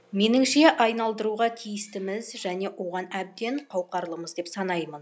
меніңше айналдыруға тиістіміз және оған әбден қауқарлымыз деп санаймын